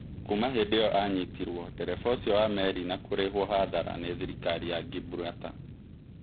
Kuuma hĩndĩ ĩyo anyitirwo ndereba ũcio wa meri na kũrĩhũo hathara nĩ thirikari ya Ngimburata.